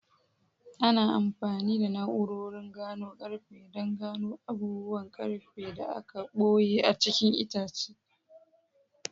Ana amfani da na'urorin gano ƙarfe don gano abubuwan ƙarfe da aka ɓoye a cikin itace.